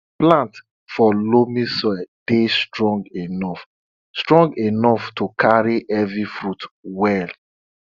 plants for loamy soil dey strong enough strong enough to carry heavy fruits well